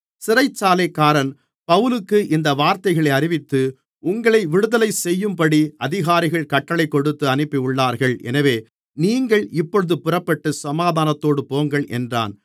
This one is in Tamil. சிறைச்சாலைக்காரன் பவுலுக்கு இந்த வார்த்தைகளை அறிவித்து உங்களை விடுதலைசெய்யும்படி அதிகாரிகள் கட்டளைக் கொடுத்து அனுப்பியுள்ளார்கள் எனவே நீங்கள் இப்பொழுது புறப்பட்டு சமாதானத்தோடு போங்கள் என்றான்